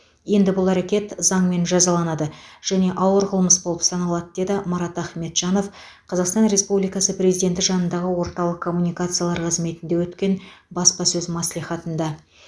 енді бұл әрекет заңмен жазаланады және ауыр қылмыс болып саналады деді марат ахметжанов қазақстан республикасы президенті жанындағы орталық коммуникациялар қызметінде өткен баспасөз мәслихатында